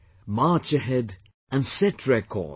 March ahead and set records